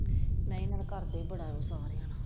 ਨਾਲੇ ਉਹਨਾਂ ਦੇ ਕਰਦੇ ਹੀ ਬੜਾ ਵਿਚਾਰ ਹੈ।